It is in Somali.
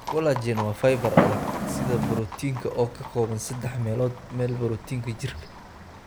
Collagen waa fiber adag sida borotiinka oo ka kooban saddex meelood meel borotiinka jirka.